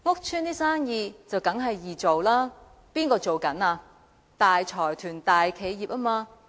這是當然的，因為經營的都是大財團、大企業。